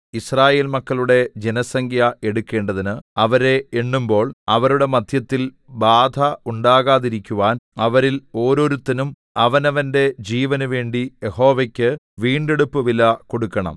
യിസ്രായേൽ മക്കളുടെ ജനസംഖ്യ എടുക്കേണ്ടതിന് അവരെ എണ്ണുമ്പോൾ അവരുടെ മദ്ധ്യത്തിൽ ബാധ ഉണ്ടാകാതിരിക്കുവാൻ അവരിൽ ഓരോരുത്തനും അവനവന്റെ ജീവനുവേണ്ടി യഹോവയ്ക്ക് വീണ്ടെടുപ്പുവില കൊടുക്കണം